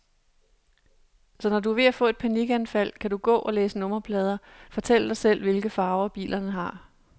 Så når du er ved at få et panikanfald, kan du gå og læse nummerplader, fortælle dig selv, hvilke farver bilerne har.